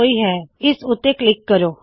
ਪਹਲੇ ਐਕਸਿਟ ਕਰੋ